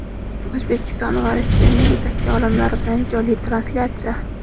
O‘zbekiston va Rossiyaning yetakchi olimlari bilan jonli translyatsiya.